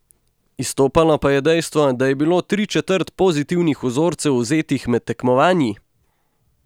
Izstopalo pa je dejstvo, da je bilo tričetrt pozitivnih vzorcev vzetih med tekmovanji!